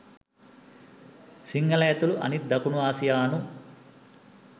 සිංහල ඇතුළු අනිත් දකුණ ආසියානු